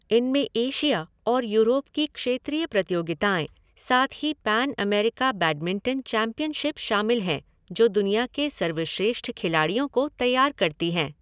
इनमें एशिया और यूरोप की क्षेत्रीय प्रतियोगिताएँ, साथ ही पैन अमेरिका बैडमिंटन चैंपियनशिप शामिल हैं, जो दुनिया के सर्वश्रेष्ठ खिलाड़ियों को तैयार करती हैं।